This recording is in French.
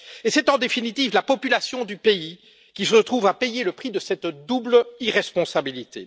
Et c'est en définitive la population du pays qui se trouve à payer le prix de cette double irresponsabilité.